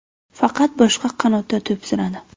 Faqat boshqa qanotda to‘p suradi.